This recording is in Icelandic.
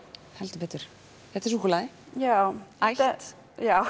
heldur betur þetta er súkkulaði já ætt já